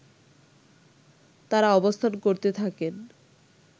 তারা অবস্থান করতে থাকেন